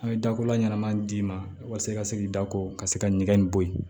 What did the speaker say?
A' ye dako la ɲɛnama d'i ma walasa i ka se k'i da ko ka se ka ɲɛgɛn in bɔ yen